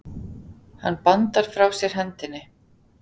Hann bandar frá sér hendinni.